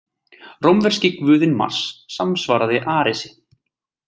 Rómverski guðinn Mars samsvaraði Aresi.